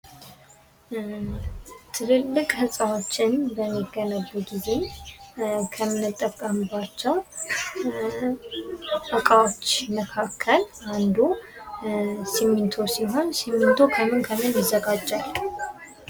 ትልልቅ ህንፃዎች በሚገነቡ ጊዜ ከምንጠቀምባቸው እቃወች መካከል አንዱ ስሚንቶ ሲሆን ስሚንቶ ከምን ከምን ይዘጋጃል ?